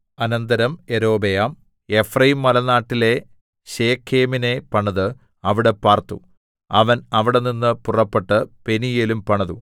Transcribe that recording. അനന്തരം യൊരോബെയാം എഫ്രയീംമലനാട്ടിലെ ശെഖേമിനെ പണിത് അവിടെ പാർത്തു അവൻ അവിടെനിന്ന് പുറപ്പെട്ട് പെനീയേലും പണിതു